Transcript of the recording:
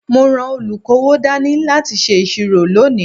Mo ran olukowo dání láti ṣe ìṣirò lónìí.